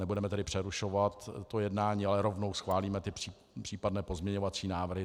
Nebudeme tedy přerušovat to jednání, ale rovnou schválíme ty případné pozměňovací návrhy.